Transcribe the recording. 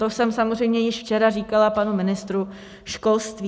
To jsem samozřejmě již včera říkala panu ministru školství.